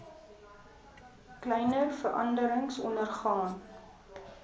kleiner veranderings ondergaan